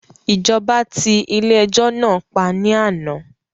Ìjọba ti ilé ẹjọ́ náà pa ní àná